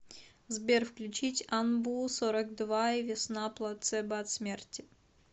сбер включить анбу сорок два и весна плацебо от смерти